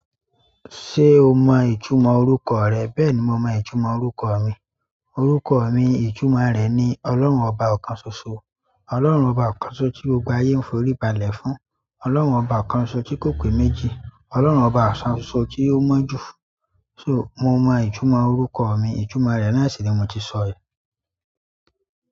Ṣé o mọ ìtumọ̀ orúkọ rẹ? Bẹ́ẹ̀ni, mo mọ ìtumọ̀ orúkọ mi. Orúkọ mi, ìtumọ̀ rẹ̀ ni "Ọlọ́run ọba ọ̀kan ṣoṣo. Ọlọ́run ọba ọ̀kan ṣoṣo tí gbogbo ayé ń forí balẹ̀ fún. Ọlọ́run ọba ọ̀kan ṣoṣo tí kò pé méjì. Ọlọ́run ọba ọ̀kan ṣoṣo tí ó mọ́ jù." So, mo mọ ìtumọ̀ orúkọ mi ìtumọ̀ rẹ̀ náà sì ni mo ti sọ yìí.